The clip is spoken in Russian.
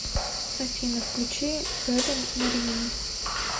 афина включи хелен маринину